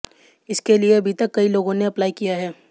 इसके लिए अभी तक कई लोगों ने अप्लाई किया है